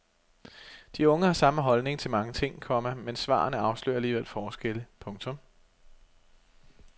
De unge har samme holdning til mange ting, komma men svarene afslører alligevel forskelle. punktum